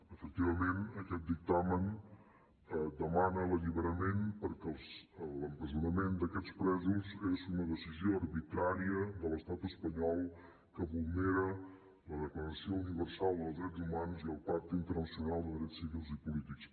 efectivament aquest dictamen demana l’alliberament perquè l’empresonament d’aquests presos és una decisió arbitrària de l’estat espanyol que vulnera la declaració universal dels drets humans i el pacte internacional de drets civils i polítics